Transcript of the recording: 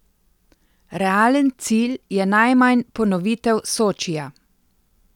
Realen cilj je najmanj ponovitev Sočija.